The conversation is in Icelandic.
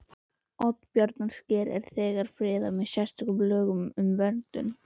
Oddbjarnarsker er þegar friðað með sérstökum lögum um verndun